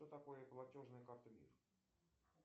что такое платежная карта мир